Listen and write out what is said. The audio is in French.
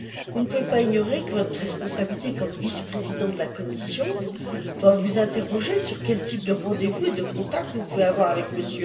Vous ne pouvez pas ignorer que votre responsabilité comme vice président de la Commission doit vous amener à vous interroger sur le type de rendez vous et de contacts que vous pouvez avoir avec M.